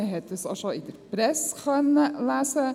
Man hat das ja auch schon in der Presse lesen können.